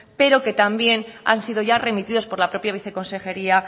pero que también han sido ya remitidos por la propia viceconsejería